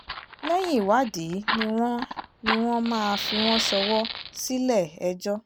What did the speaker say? lẹ́yìn ìwádìí ni wọ́n ni wọ́n máa fi wọ́n ṣọwọ́ sílẹ̀-ẹjọ́